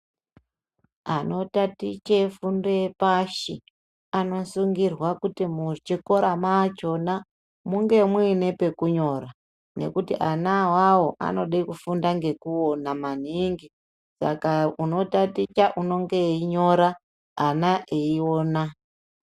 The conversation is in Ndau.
Anotatiche fundo yepashi anosungirwa kuti muchikora machona munge muine pekunyora ngekuti ana awawo anoda kufunda ngekuona maningi saka unotaticha unenge eyinyora ana eyiona.